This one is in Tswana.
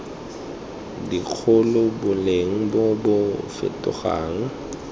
dikgolo boleng bo bo fetogang